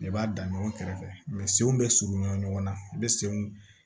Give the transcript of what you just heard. I b'a dan ɲɔgɔn kɛrɛfɛ senw bɛ surunya ɲɔgɔn na i bɛ senw